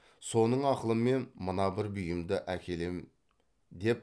соның ақылымен мына бір бұйымды әкелем деп